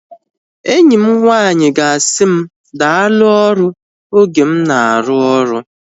Enyi m nwanyị ga-asị m daalu ọrụ oge m na-arụ oru